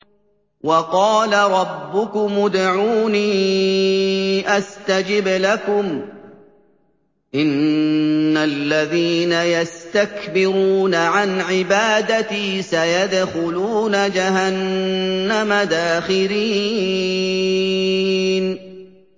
وَقَالَ رَبُّكُمُ ادْعُونِي أَسْتَجِبْ لَكُمْ ۚ إِنَّ الَّذِينَ يَسْتَكْبِرُونَ عَنْ عِبَادَتِي سَيَدْخُلُونَ جَهَنَّمَ دَاخِرِينَ